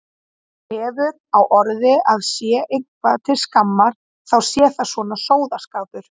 Hefur á orði að sé eitthvað til skammar þá sé það svona sóðaskapur.